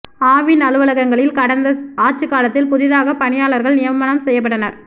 ஆவின் அலுவலகங்களில் கடந்த ஆட்சி காலத்தில் புதிதாக பணியாளர்கள் நியமனம் செய்யப்பட்டனர்